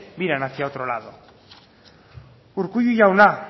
miran hacia otro lado urkullu jauna